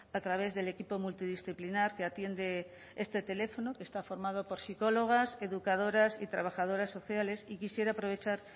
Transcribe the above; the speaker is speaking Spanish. a través del equipo multidisciplinar que atiende este teléfono que está formado por psicólogas educadoras y trabajadoras sociales y quisiera aprovechar